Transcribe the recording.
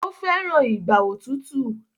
o feran Ìgbà òtútù.